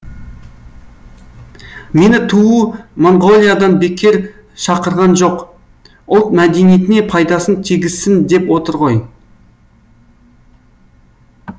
мені түу моңғолиядан бекер шақырған жоқ ұлт мәдениетіне пайдасын тигізсін деп отыр ғой